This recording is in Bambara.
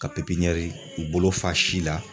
Ka pipiniyɛri i bolo fa si la.